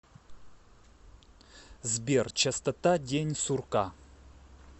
сбер частота день сурка